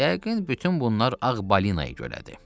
Yəqin bütün bunlar ağ balinaya görədir.